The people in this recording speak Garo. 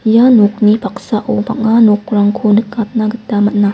ia nokni paksao bang·a nokrangko nikatna gita man·a.